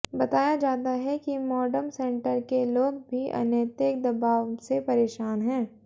बताया जाता है कि मॉडम सेंटर के लोग भी अनैतिक दबाव से परेशान हैं